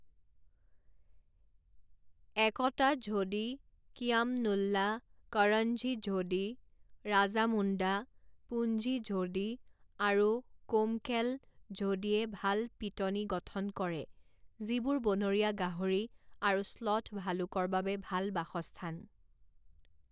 একতা ঝোডি, কিয়াম নুল্লা, কৰণজী ঝোডি, ৰাজামুণ্ডা, পুঞ্জি ঝোডি, আৰু কোমকেল ঝোডিয়ে ভাল পিটনি গঠন কৰে যিবোৰ বনৰীয়া গাহৰি আৰু শ্লথ ভালুকৰ বাবে ভাল বাসস্থান।